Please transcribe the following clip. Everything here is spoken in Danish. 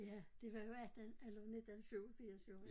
Ja det var jo 18 eller 19 87 jo